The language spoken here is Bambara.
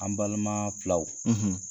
An balima filaw,